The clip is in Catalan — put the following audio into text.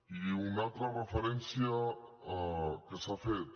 i una altra referència que s’ha fet